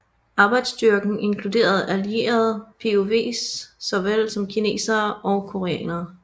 Arbejdsstyrken inkluderede allierede POWs såvel som kinesere og koreanere